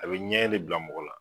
A bɛ ɲɛɛn de bila mɔgɔ la.